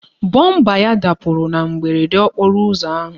Bọmba ya dapụrụ na mberede okporo ụzọ ahụ.